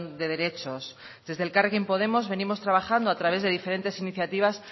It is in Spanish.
de derechos desde elkarrekin podemos venimos trabajando a través de diferentes iniciativas